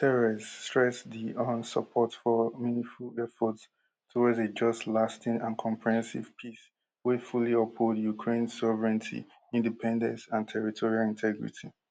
guterres stress di un support for meaningful efforts towards a just lasting and comprehensive peace wey fully uphold ukraine sovereignty independence and territorial integrity